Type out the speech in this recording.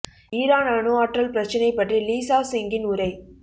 Iran அணு ஆற்றல் பிரச்சினை பற்றி லீ சாவ் சிங்கின் உரை